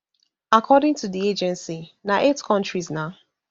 according to di agency na eight kontris na